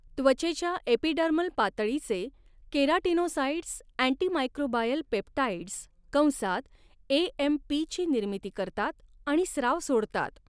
त्वचेच्या एपिडर्मल पातळीचे keratinocytes antimicrobial peptides कंसात एएमपी ची निर्मिती करतात आणि स्राव सोडतात.